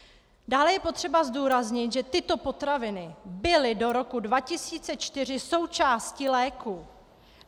Dále je potřeba zdůraznit, že tyto potraviny byly do roku 2004 součástí léků.